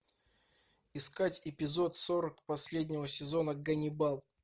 искать эпизод сорок последнего сезона ганнибал